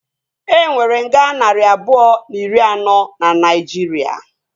E nwere nga narị abụọ na iri anọ na Naijiria